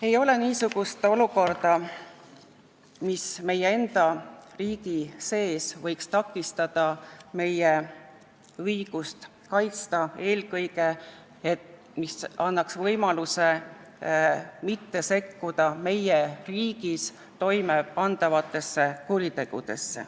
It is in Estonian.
Ei ole niisugust olukorda, mis võiks takistada meie õigust sekkuda meie enda riigis toimepandavatesse kuritegudesse, mis annaks võimaluse nendesse mitte sekkuda.